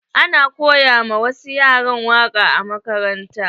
Ana koya ma wasu yara waƙa a makaranta.